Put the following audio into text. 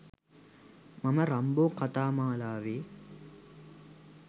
මම රම්බෝ කතා මාලාවේ